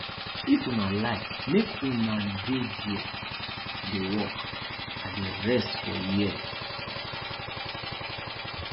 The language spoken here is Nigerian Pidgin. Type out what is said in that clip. if una like make una dey there dey work i dey rest for here